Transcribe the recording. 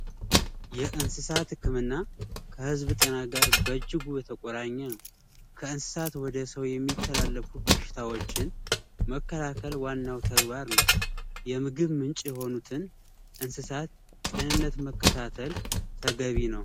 የእንሰሳት ህክምና ከህዝብ ጤና ጋራ በእጅጉ የተቆራኘ ነው። ከእንሰሳት ወደ ሰው የሚተላለፉ በሽታዎችን መከላከል ዋናው ተግባር ነው የምግብ ምንጭ የሆኑትን እንስሳት ጤንነት መከታተል ተገቢ ነው።